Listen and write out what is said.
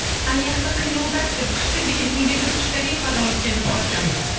аяқты қимылдат деп күшті билейтін бейбіт қошқалиев ағамыз келді қош келдіңіз